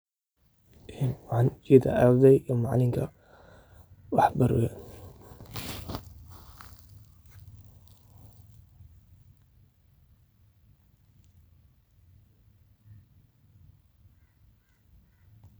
Ee waxan wa ardey iyo macalinka wax baraya.